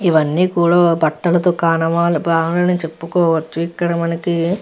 ఇవన్నీ కూడా బట్టల దుకాణమా అని చెప్పుకోవచ్చు. ఇక్కడ మనకి --